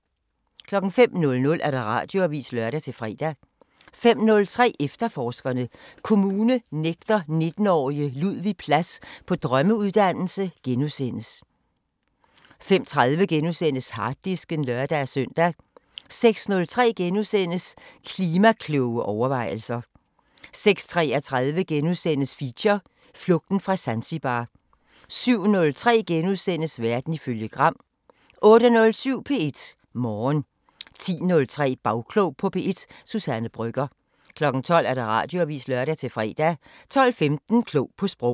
05:00: Radioavisen (lør-fre) 05:03: Efterforskerne: Kommune nægter 19-årige Ludvig plads på drømmeuddannelse * 05:30: Harddisken *(lør-søn) 06:03: Klima-kloge overvejelser * 06:33: Feature: Flugten fra Zanzibar * 07:03: Verden ifølge Gram * 08:07: P1 Morgen 10:03: Bagklog på P1: Suzanne Brøgger 12:00: Radioavisen (lør-fre) 12:15: Klog på Sprog